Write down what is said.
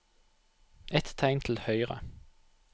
Ett tegn til høyre